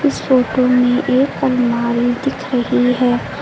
इस फोटो में एक अलमारी दिख रही है।